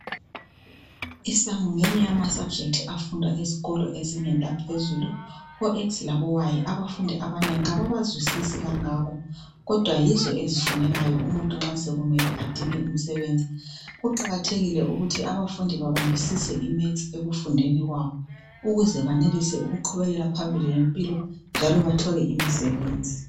Isamu ngeyinye yama subject afundwa esikolo ezingeni laphezulu o x labo y abafundi abanengi kabawazwisisi kangako kodwa yizo ezifunekayo umuntu nxa sokumele adinga umsebenzi. Kuqakathekile ukuthi abafundi babambisise imaths ekufundeni kwabo ukuze benelise ukuqhubeka phambili ngempilo njalo bethole imisebenzi.